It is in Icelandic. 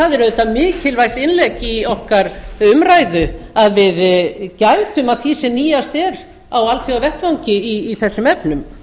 það er auðvitað mikilvægt innlegg í okkar umræðu að við gætum að því sem nýjast er á alþjóðavettvangi í þessum efnum